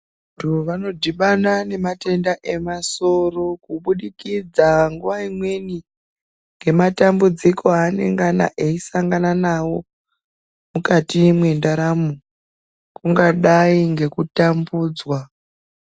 Vantu vanodhibana nematenda emasoro kubudikidza nguwa imweni ngematambudziko aanenge ana eyisangane nawo mukati mwendaramo kungadai ngekutambudzwa.